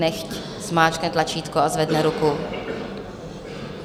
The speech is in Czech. Nechť zmáčkne tlačítko a zvedne ruku.